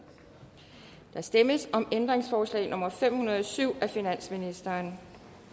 der stemmes om ændringsforslag nummer fem hundrede og syv af finansministeren